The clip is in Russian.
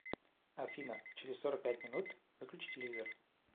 афина через сорок пять минут выключи телевизор